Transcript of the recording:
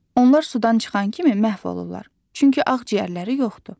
Onlar sudan çıxan kimi məhv olurlar, çünki ağciyərləri yoxdur.